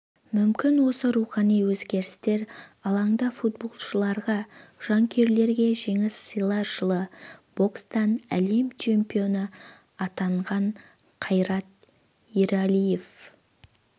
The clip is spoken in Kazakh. мүмкін осы рухани өзгерістер алаңда футболшыларға жанкүйерлерге жеңіс сыйлар жылы бокстан әлем чемпионы атанған қайрат ералиев